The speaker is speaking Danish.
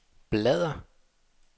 bladr